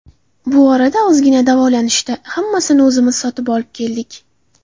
Bu orada ozgina davolanishdi, hammasini o‘zimiz sotib olib keldik.